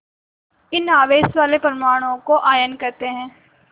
इन आवेश वाले परमाणुओं को आयन कहते हैं